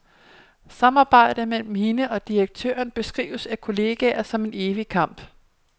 Samarbejdet mellem hende og direktøren beskrives af kolleger som en evig kamp.